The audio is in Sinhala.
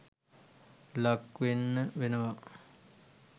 ලක් වෙන්න වෙනවා